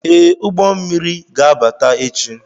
Ee, ụgbọ mmiri ga-abata echi